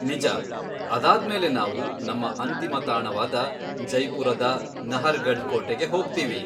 ನಿಜ. ಅದಾದ್ಮೇಲೆ ನಾವು ನಮ್ಮ ಅಂತಿಮ ತಾಣವಾದ ಜೈಪುರದ ನಹರ್ಗಢ್ ಕೋಟೆಗೆ ಹೋಗ್ತೀವಿ.